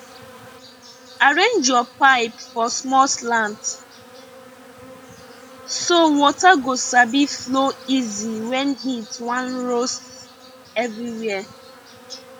arrange your pipe for small slant so water go sabi flow easy when heat wan roast everywhere